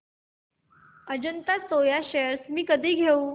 Ajanta Soya shares मी कधी घेऊ